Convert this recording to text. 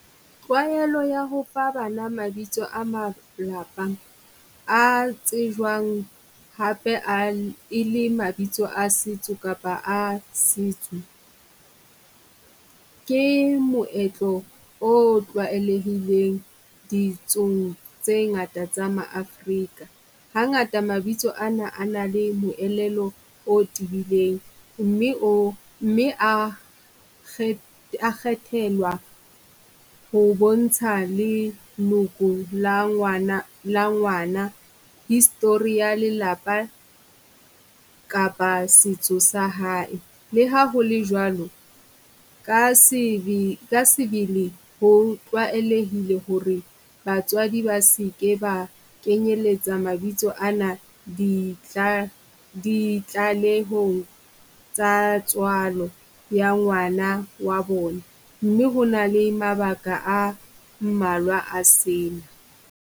Tlwaelo ya ho fa bana mabitso a malapa a tsejwang hape a e le mabitso a setso kapa a setso. Ke moetlo o tlwaelehileng ditsong tse ngata tsa ma-Afrika. Hangata mabitso ana a na le moelelo o tebileng, mme o mme a a kgethelwa ho bontsha le leloko la ngwana, la ngwana history ya lelapa kapa setso sa hae. Le ha ho le jwalo, ka ka sebele ho tlwaelehile ho re batswadi ba seke ba kenyeletsa mabitso ana ditlalehong tsa tswalo ya ngwana wa bona. Mme ho na le mabaka a mmalwa a sena.